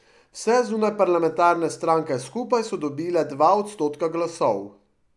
Vse zunajparlamentarne stranka skupaj so dobile dva odstotka glasov.